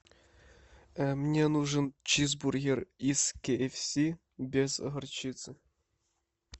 мне нужен чизбургер из кей эф си без горчицы